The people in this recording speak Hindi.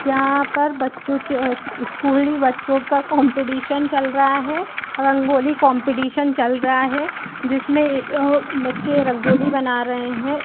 यहाँ पर बच्चों के स्कूली बच्चों का कॉम्पटीशन चल रहा है रंगोली कॉम्पटीशन चल रहा है जिसमें आ बच्चे रंगोली बना रहें हैं।